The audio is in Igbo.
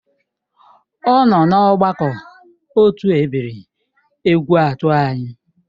Ọ nọ na ọgbakọ otu ebiri Egwuatu anyị